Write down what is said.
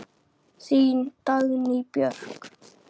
Þín Dagný Björk.